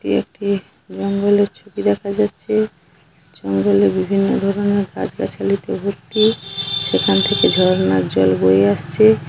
এটি একটি জঙ্গলের ছবি দেখা যাচ্ছে জঙ্গলে বিভিন্ন ধরণে গাছ গাছালি তে ভর্তি সেখান থেকে ঝর্ণার জল বয়ে আসছে।